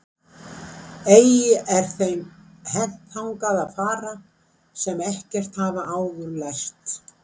Ei er þeim hent þangað að fara sem ekkert hafa áður lært.